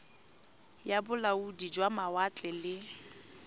ya bolaodi jwa mawatle le